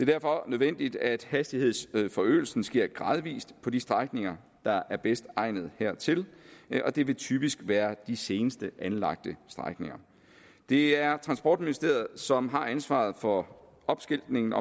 derfor nødvendigt at hastighedsforøgelsen sker gradvist på de strækninger der er bedst egnet hertil og det vil typisk være de senest anlagte strækninger det er transportministeriet som har ansvaret for opskiltningen